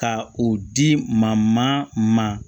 Ka o di ma